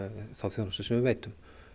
þá þjónustu sem við veitum